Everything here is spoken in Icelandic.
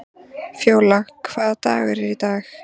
Fjólar, hvaða dagur er í dag?